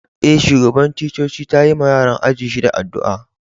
Eh, shugaban ticcoci ta yi ma yaran ajin shida addu'a.